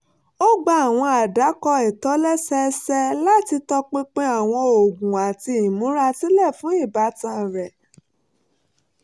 ó gba àwọn àdàkọ ìtòlẹ́sẹẹsẹ láti tọpinpin àwọn oògùn àti ìmúrasílẹ̀ fún ìbátan rẹ̀